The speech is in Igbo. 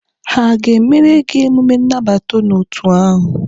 Ha aga-emere gị emume nnabata n'otu ahụ?